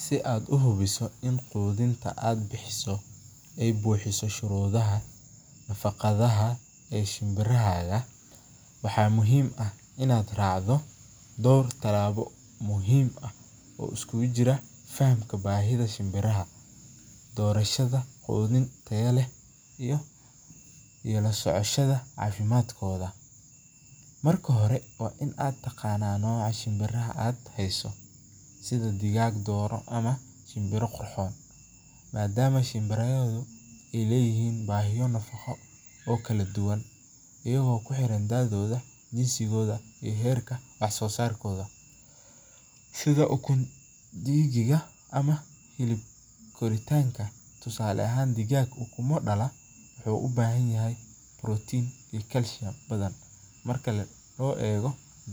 Si aad uhubiso in aad buxiso nafaqadaha shinbiraha, raac tilaabo muhiim ah, dorashada mid tayo leh, iyo cafimaadkooda, sida dooro ama kuwo Qurxoon, ayago kuxiran daadooda ama kuwa Qurxoon, tusaale ahaan